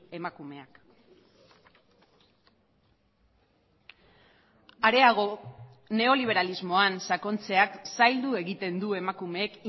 emakumeak areago neoliberalismoan sakontzeak zaildu egiten du emakumeek